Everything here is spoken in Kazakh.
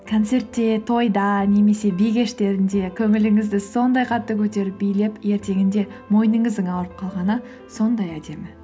концертте тойда немесе би кештерінде көңіліңізді сондай қатты көтеріп билеп ертеңінде мойныңыздың ауырып қалғаны сондай әдемі